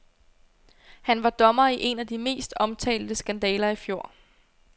Han var dommer i en af de mest omtalte skandaler i fjor.